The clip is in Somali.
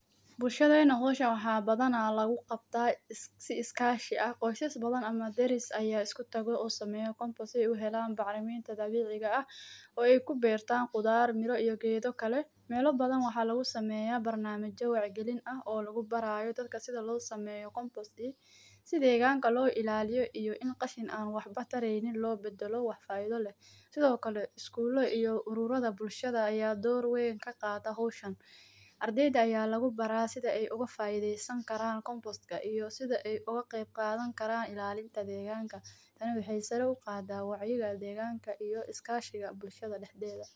Bulshadena hooshan waa badanaa lagu qabtaa si iskaashiga. Qoysas badan ama deris ayaa isku tago oo sameya Koonfosii ugu helaan bacrimiin tadadweyiga ah oo ay ku beertaan qudaar miro iyo geedo. Kale meelo badan waxaa lagu sameeyaa barnaamijyo wax gelin ah oo lagu barayo dadka sida loo sameyo koonfostiisa, si deegaanka loo ilaaliyo iyo in qashin aan waxba tareynin loo beddelo wafaayado leh. Sidoo kale iskuulo iyo ururada bulshada ayaa door weyn ka qaata hooshon. Ardayda ayaa lagu baraa sida ay uga faaiideysan karaan kompostka iyo sida ay uga qayb qaadan karaan ilaalinta deegaanka. Tani waxay saraw gaadaa wacyiga deegaanka iyo iskaashiga bulshada dhexdeeda.